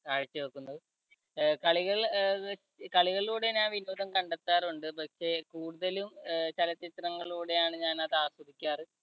കാഴ്ചവെക്കുന്നു. അഹ് കളികൾ അഹ് കളികളിലൂടെ ഞാൻ വിനോദം കണ്ടെത്താറുണ്ട് പക്ഷേ കൂടുതലും അഹ് ചലച്ചിത്രങ്ങളിലൂടെയാണ് ഞാനത് ആസ്വദിക്കാറ്.